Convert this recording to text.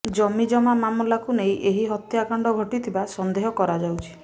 ଜମିଜମା ମାମଲାକୁ ନେଇ ଏହି ହତ୍ୟାକାଣ୍ଡ ଘଟିଥିବା ସନ୍ଦେହ କରାଯାଉଛି